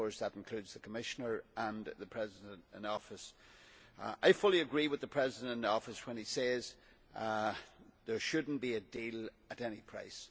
That of course includes the Commissioner and the President in office. I fully agree with the President in office when he says that there should not be a deal at any price.